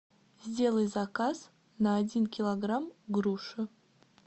сделай заказ на один килограмм груши